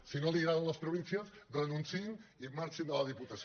si no li agraden les províncies renunciïn i marxin de la diputació